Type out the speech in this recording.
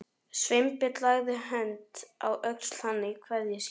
Sveinbjörn lagði hönd á öxl hans í kveðjuskyni.